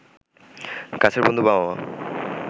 কাছের বন্ধু, বাবা-মা